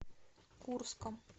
курском